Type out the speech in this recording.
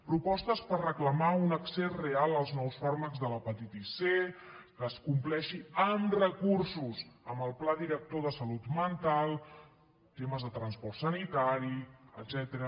propostes per reclamar un accés real als nous fàrmacs de l’hepatitis c que es compleixi amb recursos amb el pla director de salut mental temes de transport sanitari etcètera